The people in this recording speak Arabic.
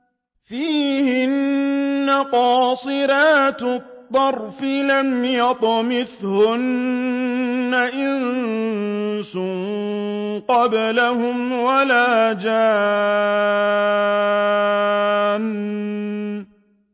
فِيهِنَّ قَاصِرَاتُ الطَّرْفِ لَمْ يَطْمِثْهُنَّ إِنسٌ قَبْلَهُمْ وَلَا جَانٌّ